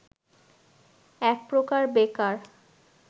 এক প্রকার বেকার